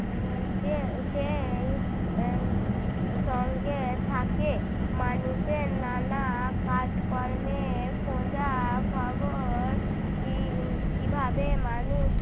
উম যে সেইসঙ্গে থাকে মানুষের নানা কাজকর্মের খোঁজা খবর কী~ কীভাবে মানুষ